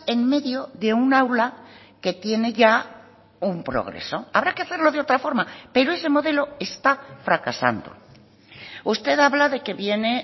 en medio de un aula que tiene ya un progreso habrá que hacerlo de otra forma pero ese modelo está fracasando usted habla de que viene